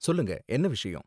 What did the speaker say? சொல்லுங்க, என்ன விஷயம்?